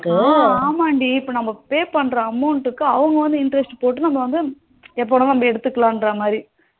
ஆ ஆமாண்டி நமக்கு இப்போ pay பண்ற amount க்கு அவங்க வந்து interest போட்டு நம்ம வந்து எப்பனாலும் ஏத்துக்கலான்ற மாரி